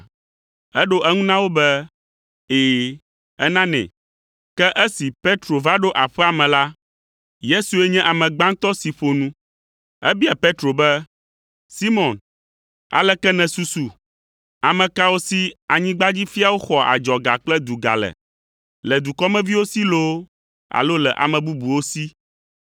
Eɖo eŋu na wo be, “Ɛ̃, enanɛ.” Ke esi Petro va ɖo aƒea me la, Yesue nye ame gbãtɔ si ƒo nu. Ebia Petro be, “Simɔn, aleke nèsusu? Ame kawo si anyigbadzifiawo xɔa adzɔga kple duga le, le dukɔmeviwo si loo alo le ame bubuwo si?”